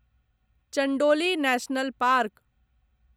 Chandoli national park